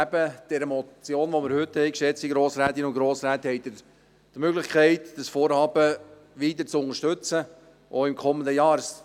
Neben der Motion, die wir heute haben, geschätzte Grossrätinnen und Grossräte, haben Sie die Möglichkeit, das Vorhaben weiter zu unterstützen, auch im kommenden Jahr.